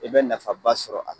E bɛ nafa ba sɔrɔ a la